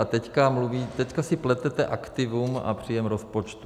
A teďka si pletete aktivum a příjem rozpočtu.